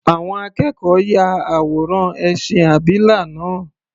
Àwọn akẹ́kọ̀ọ́ ya àwòrán ẹṣin abìlà náà.